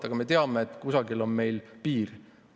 Samas me teame, et kusagil on piir.